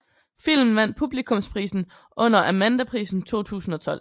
Filmen vandt publikumsprisen under Amandaprisen 2012